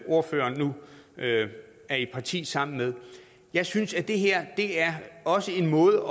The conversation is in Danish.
ordføreren nu er i parti sammen med jeg synes at det her også er en måde